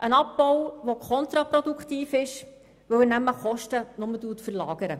Es ist ein Abbau, der kontraproduktiv ist, weil er Kosten nur verlagert.